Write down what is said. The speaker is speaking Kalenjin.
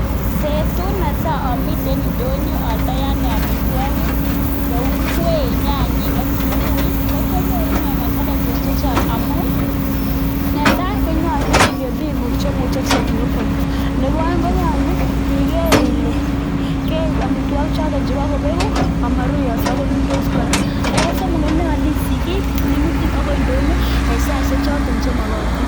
Betut netai amiten indonyo aldoi ane amitwogik, kou ngwek, nyanyik, ak kitunguik ko kianyoru ine challenges chechang amun: netai konyolu ingen biikguk che imuche konyokoalun, nebo oeng konyolu iger ile keib amitwogichoto cheboko begu amoruiyoso konundos kora, nebo somok konyolu isich kiit ne imutin agoi ndonyo en saishek choto chemogotin.